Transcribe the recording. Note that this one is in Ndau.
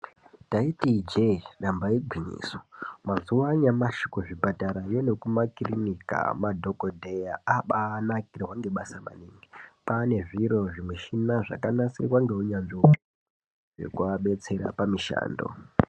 Taiti ijee damba igwinyiso mazuva anyamashi kuzvipatara nekumakirinika madhogodheya akubanakirwa nebasa maningi kwane zviro zvimushina zvakanasirwa nehunyanzvi hwakumabesera pamishando.